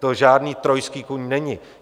To žádný trojský kůň není.